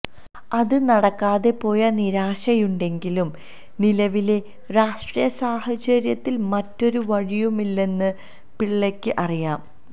അത് നടക്കാതെ പോയ നിരാശയുണ്ടെങ്കിലും നിലവിലെ രാഷ്ട്രീയ സാഹചര്യത്തിൽ മറ്റൊരു വഴിയുമില്ലെന്ന് പിള്ളയ്ക്ക് അറിയാം